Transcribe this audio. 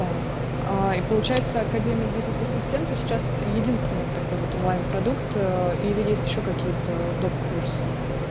так и получается академия бизнес ассистентов сейчас единственный такой вот онлайн продукт или есть ещё какие-то доп курсы